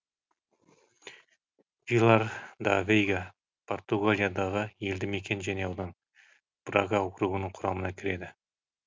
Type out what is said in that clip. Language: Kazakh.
вилар да вейга португалиядағы елді мекен және аудан брага округінің құрамына кіреді